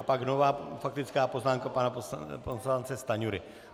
A pak nová faktická poznámka pana poslance Stanjury.